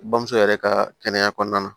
Bamuso yɛrɛ ka kɛnɛya kɔɔna na